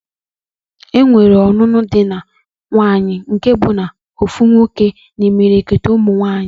Enwere ọnụnụ di na nwuńye nke bụ ofu nwoke na imilikiti umu nwaanyi